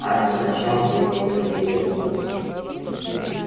а раздражал он её нередко